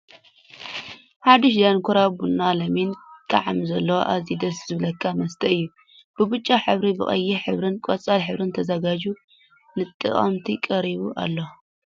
ሓዱሽ ዳንኪራበናናሎሚን ጣዕሚ ዘለዎ ኣዝዩ ደስ ዝብለካ መስተ እዩ። ብብጫ ሕብሪ ብቀይሕ ሕብርን ቆፃል ሕብርን ተዘጋጅዩ ንተጠቀምቲ ቀሪቡ ኣሎ ።